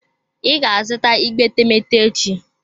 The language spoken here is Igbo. I ga-azụta igbe etemeete echi?